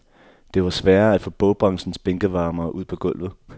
Det var sværere at få bogbranchens bænkevarmere ud på gulvet.